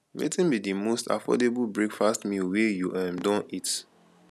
wetin be di most affordable breakfast meal wey you um don eat